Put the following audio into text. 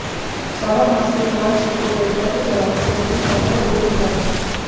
श्रावण मास में भगवान शिव को बेलपत्र चढ़ाने से अधूरी कामनाएं पूरी हो जाती है